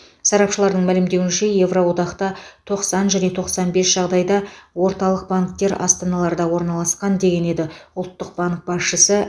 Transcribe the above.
сарапшылардың мәлімдеуінше евроодақта тоқсан және тоқсан бес жағдайда орталық банктер астаналарда орналасқан деген еді ұлттық банк басшысы